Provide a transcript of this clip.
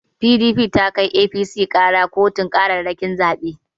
PDP ta kai APC ƙara kotun ƙararrakin zabe.